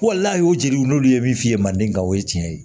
n'a y'o jeni n'olu ye min f'i ye manden ka o ye tiɲɛ ye